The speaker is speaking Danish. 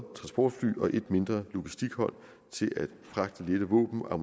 og et mindre logistikhold til at fragte lette våben og